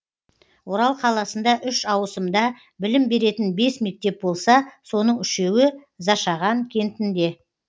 орал қаласында үш ауысымда білім беретін бес мектеп болса соның үшеуі зашаған кентінде